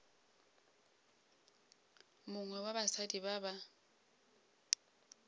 mongwe wa basadi ba ba